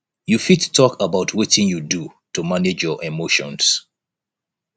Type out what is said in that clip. you fit talk about wetin you do to manage your emotions